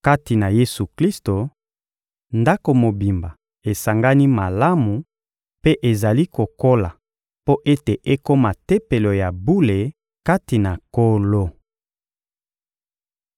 Kati na Yesu-Klisto, ndako mobimba esangani malamu mpe ezali kokola mpo ete ekoma Tempelo ya bule kati na Nkolo.